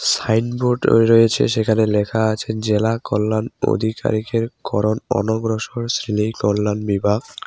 Signboard রয়েছে সেখানে লেখা আছে জেলা কল্যাণ অধিকারীকের করণ অনগ্রসর শ্রেণী কল্যাণ বিভাগ।